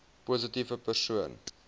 positiewe persoon